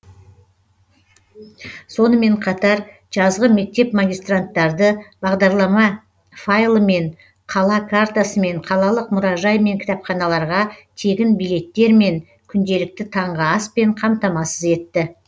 сонымен қатар жазғы мектеп магистранттарды бағдарлама файлымен қала картасымен қалалық мұражай мен кітапханаларға тегін билеттермен күнделікті таңғы аспен қамтамасыз етті